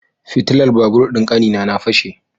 Fitilar babur din kanina na fashe.